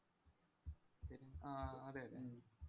തെലു~ ആഹ് അതേ അതെ